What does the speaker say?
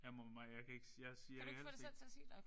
Jeg må jeg kan ikke jeg siger jeg kan ikke sige